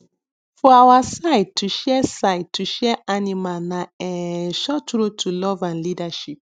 for our side to share side to share animal na um short road to love and leadership